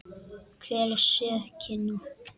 Hver á sökina?